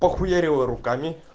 похуярила руками